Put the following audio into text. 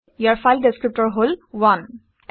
ইয়াৰ file ডিচক্ৰিপটৰ হল 1